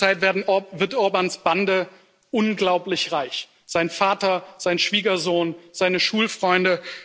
In der Zwischenzeit wird Orbáns Bande unglaublich reich sein Vater, sein Schwiegersohn, seine Schulfreunde.